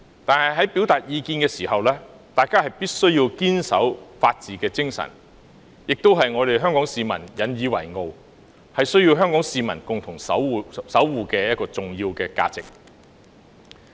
可是，在表達意見時，大家必須堅守法治精神，這亦是香港市民引以自豪，並需要共同守護的重要價值。